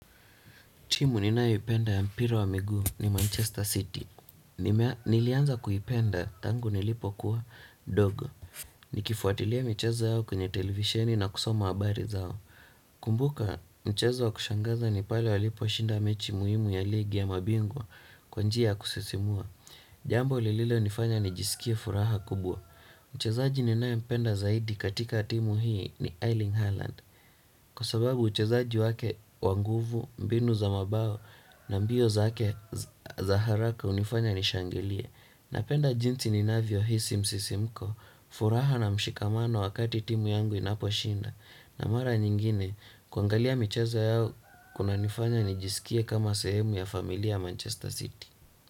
Timu ninayo ipenda ya mpira wa miguu ni Manchester City. Nilianza kuipenda tangu nilipo kuwa dogo. Nikifuatilia mcheza yao kwenye televisheni na kusoma habari zao. Kumbuka mchezo wa kushangaza ni pale walipo shinda mechi muhimu ya ligi ya mabingwa kwa njia kusisimua. Jambo lililo nifanya nijisikie furaha kubwa. Mchezaji ninae mpenda zaidi katika timu hii ni Eiling Harland. Kwa sababu uchezaji wake wa nguvu mbinu za mabao na mbio zake za haraka unifanya nishangilie. Napenda jinsi ninavyo hisi msisimko furaha na mshikamano wakati timu yangu inaposhinda. Na mara nyingine kuangalia michezo yao kuna nifanya nijisikie kama sehemu ya familia ya Manchester City.